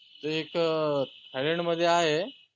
ते एक त थायलंडमध्ये आहे